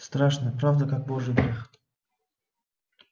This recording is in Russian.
страшна правда как божий грех